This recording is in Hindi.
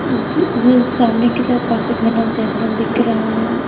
ये सामने की तरफ काफी घन्ना जंगल दिख रहा है।